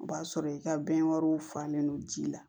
O b'a sɔrɔ i ka bɛnkanw falen don ji la